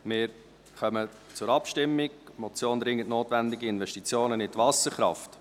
Wir kommen zur Abstimmung über die Motion «Dringend notwendige Investition in die Wasserkraft».